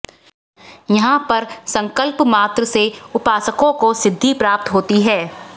यहां पर संकल्प मात्र से उपासकों को सिद्वि प्राप्त होती है